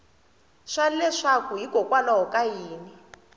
swa leswaku hikokwalaho ka yini